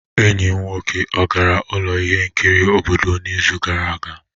Enyi m nwoke ọ gara ụlọ ihe nkiri obodo n'izu gara aga?